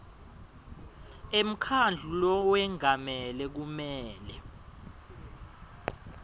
emkhandlu lowengamele kumele